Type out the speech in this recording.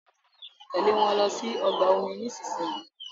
Tèlé wón ló sì ọgbà omi nísìsiyìí!